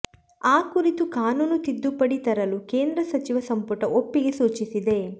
ಆ ಕುರಿತು ಕಾನೂನು ತಿದ್ದುಪಡಿ ತರಲು ಕೇಂದ್ರ ಸಚಿವ ಸಂಪುಟ ಒಪ್ಪಿಗೆ ಸೂಚಿಸಿದೆ